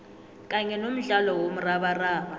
kanye nomdlalo womrabaraba